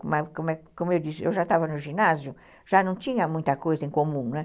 Como como eu disse, eu já estava no ginásio, já não tinha muita coisa em comum, né?